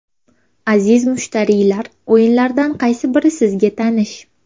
Aziz mushtariylar, o‘yinlardan qaysi biri sizga tanish.